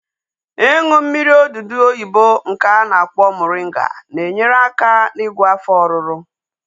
Ịṅụ mmiri odudu oyibo nke a na-akpọ moringa na-enyere aka n'igwọ afọ ọruru